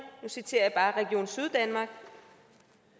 nu citerer jeg bare region syddanmark